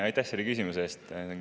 Aitäh selle küsimuse eest!